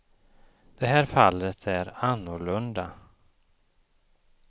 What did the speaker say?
Det här fallet är annorlunda.